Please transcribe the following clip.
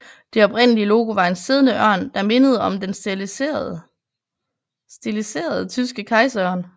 Det oprindelige logo var en siddende ørn der mindede om den stiliserede tyske kejserørn